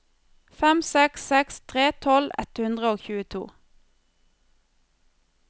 fem seks seks tre tolv ett hundre og tjueto